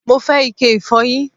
Mo fẹ́ ike ìfọyín